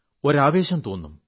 ഒരു ആവേശം തോന്നും